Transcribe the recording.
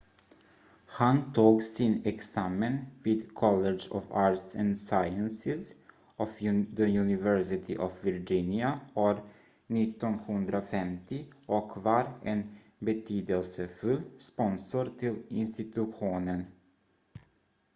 han tog sin examen vid college of arts & sciences of the university of virginia år 1950 och var en betydelsefull sponsor till institutionen